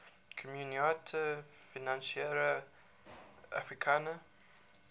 communaute financiere africaine